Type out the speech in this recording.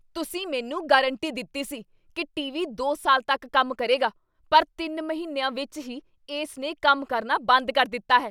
ਤੁਸੀਂ ਮੈਨੂੰ ਗਾਰੰਟੀ ਦਿੱਤੀ ਸੀ ਕੀ ਟੀਵੀ ਦੋ ਸਾਲ ਤੱਕ ਕੰਮ ਕਰੇਗਾ ਪਰ ਤਿੰਨ ਮਹੀਨਿਆਂ ਵਿੱਚ ਹੀ ਇਸ ਨੇ ਕੰਮ ਕਰਨਾ ਬੰਦ ਕਰ ਦਿੱਤਾ ਹੈ!